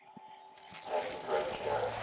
taking great care